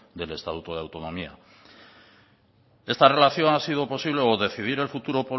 del estatuto de autonomía esta relación ha sido posible o decidir el futuro